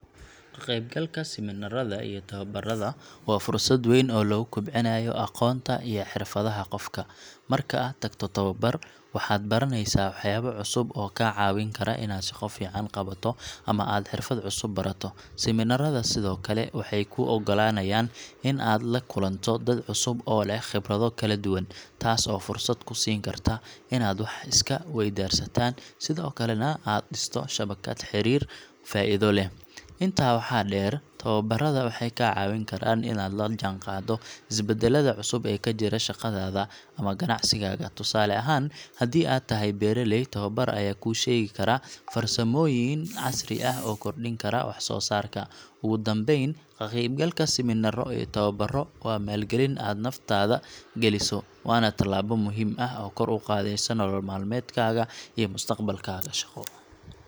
Ka qaybgalka siminaarada iyo tababarada waa fursad weyn oo lagu kobcinayo aqoonta iyo xirfadaha qofka. Marka aad tagto tababar, waxaad baranaysaa waxyaabo cusub oo kaa caawin kara inaad shaqo fiican qabato ama aad xirfad cusub barato. Siminaarada sidoo kale waxay kuu oggolaanayaan inaad la kulanto dad cusub oo leh khibrado kala duwan, taas oo fursad kuu siin karta inaad wax iska weydaarsataan, sidoo kalena aad dhisto shabakad xiriir faa’iido leh. Intaa waxaa dheer, tababarada waxay kaa caawin karaan inaad la jaanqaaddo isbeddellada cusub ee ka jira shaqadaada ama ganacsigaaga. Tusaale ahaan, haddii aad tahay beeraley, tababar ayaa kuu sheegi kara farsamooyin casri ah oo kordhin kara waxsoosaarka. Ugu dambayn, ka qaybgalka siminaaro iyo tababaro waa maalgelin aad naftaada gelinayso, waana talaabo muhiim ah oo kor u qaadaysa nolol maalmeedkaaga iyo mustaqbalkaaga shaqo.